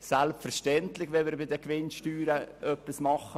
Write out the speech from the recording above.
Selbstverständlich wollen wir bei den Gewinnsteuern etwas tun.